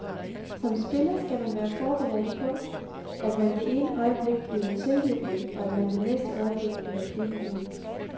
Som spiller skal man være forberedt på, at man det ene øjeblik bliver tiljublet, og at man det næste øjeblik bliver pebet ud.